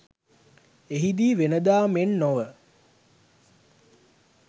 එහිදී වෙන දා මෙන් නොව